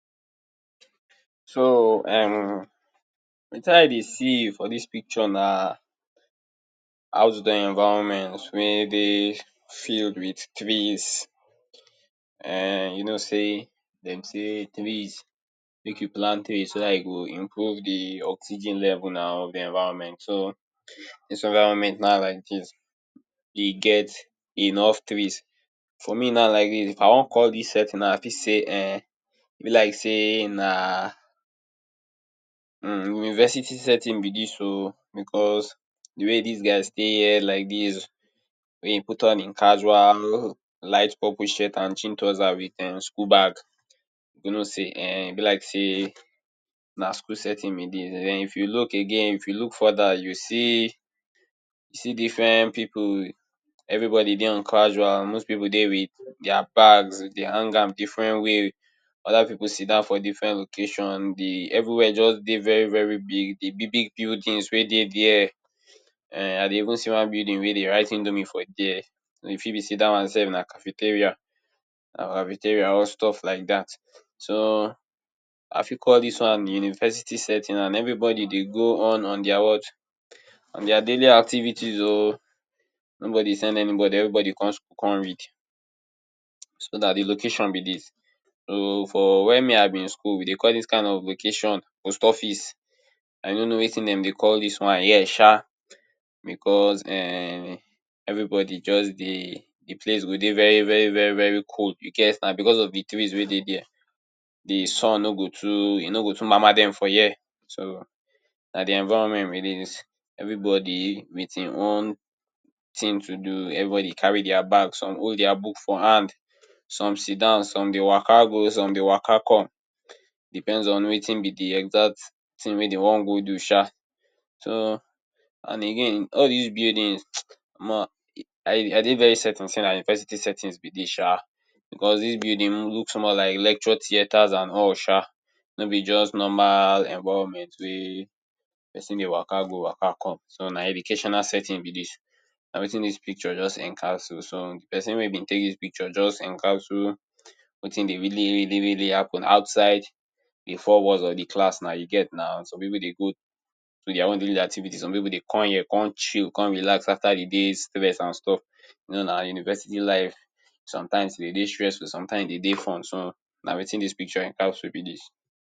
So, um, wetin I dey see for dis picture na outdoor environment wey dey filled with trees. um You know sey dem say trees, make you dey plant trees so dat e go increase de oxygen level nau of de environment. So, dis environment now like dis, e get enough trees. For me now like dis, if I wan call dis setting now, I fit say um e be like sey na um university setting be dis oh. Because de way dis guy stay here like dis, wey e put on im casual light purple shirt and jean trouser with um school bag, you know sey um na school setting be dis. Den, if you look again, if you look further, you see, you see different pipu. Everybody dey on casuals. Most pipu dey with dia bags, dem hang in different ways, other pipu sidon for different location. De everywhere just dey very very big. De big big buildings wey dey there. um I dey even see one building wey dem write Indomie for there. e fit be sey dat one sef na cafeteria, na cafeteria or stuff laidat. So, I fit call dis one university setting. And everybody dey go on, on dia what? On dia daily activities oh. Nobody send anybody. Everybody con school con read. So, na de location be dis. But for wen me I bin school, we dey call dis kain of location post office. I no know wetin dem dey call dis one here sha. Because, um, everybody just dey. De place go dey very very very cold, you get nau, because of de trees wey dey there. De sun no go too, e no go too ma?ma? dem for here. So, na de environment be dis. Everybody with im own tin to do. Everybody carry dia bag, some hold dia book for hand. Some sidon, some dey wa?ka? go, some dey wa?ka? come. Depends on wetin be de exact tin wey dem wan go do sha. So, and again, all dis buildings um, omo, I dey very certain sey na university setting be dis. Because dis buildings look like lecture theaters and all sha. No be just normal environment wey pesin dey wa?ka? go wa?ka? come. So, na educational setting be dis. Na wetin dis picture just encapsule. So, pesin wey bin take dis picture just encapsule wetin dey really really really happen outside de four walls of de class nau. You get nau. Some dey go dia daily activities. Maybe dem come here con chill, con relax after de day’s stress and stuff. You know nau. University life, sometimes e dey de stressful, sometimes e dey de fun. So, na wetin dis picture encapsule be dis.